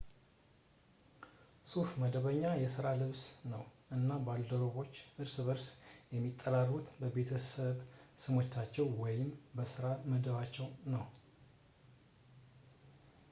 ሱፍ መደበኛ የስራ ልብስ ነው እና ባልደረባዎች እርስ በርስ የሚጠራሩት በቤተሰብ ስሞቻቸው ወይም በስራ መደባቸው ነው